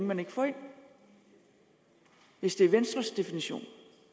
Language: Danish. man ikke får ind hvis det er venstres definition